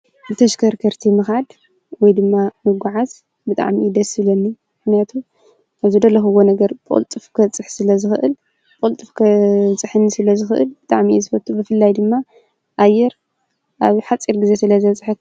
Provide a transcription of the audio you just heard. ብተሽከርከርቲ ምካድ ወይ ድማ ምጉዓዝ ብጣዕሚ እዩ ደስ ዝብለኒ። ምክንያቱ አብ ዝደለኩዎ ነገር ብቅልጡፍ ክበፅሕ ስለ ዝክእል ብቅልጡፍ ከብፀሐኒ ስለ ዝክእል ብጣዕሚ እየ ዝፈቱ። ብፍላይ ድማ ኣየር አብ ሓፂር ግዜ ስለ ዘብፀሐኒ።